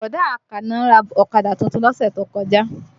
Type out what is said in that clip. Bọ̀dá Àkànó ra ọ̀kadà tuntun lọ́sẹ̀ tó kọjá